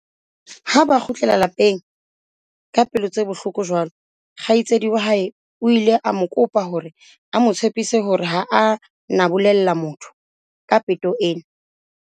Ha ba kgutlela lapeng ka pelo tse bohloko jwalo, kgaitsedi wa hae o ile a mo kopa hore a mo tshepise hore ha a na bolella motho ka peto ena.